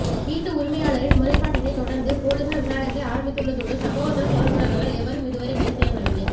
வீட்டு உரிமையாளரின் முறை பாட்டினை தொடர்ந்து பொலிஸார் விசாரனைகளை ஆரம்பித்துள்ளதோடு சம்பவத்துடன் தொடர்புபட்டவர்கள் எவரும் இதுவரை கைது செய்யப்படவில்லை